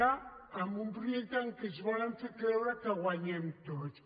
en un primer temps que ens volen fer creure que hi guanyem tots